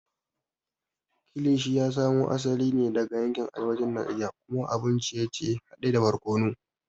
Kilishi ya samo asali ne daga yankin arewacin Najeriya kuma abun ciye-ciye hade da barkono.